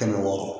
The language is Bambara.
Kɛmɛ wɔɔrɔ